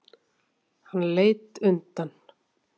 Hann leit undan.